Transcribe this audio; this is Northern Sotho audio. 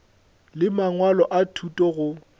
le mangwalo a thuto go